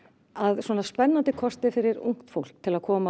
svona spennandi kostir fyrir ungt fólk til að koma